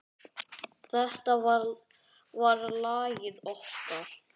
Þetta var lagið okkar.